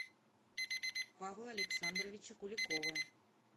павла александровича куликова